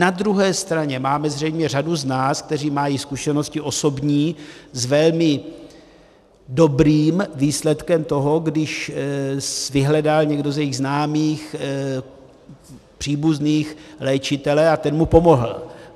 Na druhé straně máme zřejmě řadu z nás, kteří mají zkušenosti osobní s velmi dobrým výsledkem toho, když vyhledal někdo z jejich známých, příbuzných léčitele a ten mu pomohl.